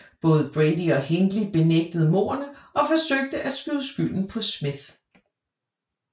Både Brady og Hindley benægtede mordene og forsøgte at skyde skylden på Smith